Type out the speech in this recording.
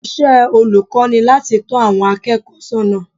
Iṣẹ́ olùkọ́ ni láti tọ́ àwọn akẹ́kọ̀ọ́ sọ́nà